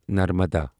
Narmada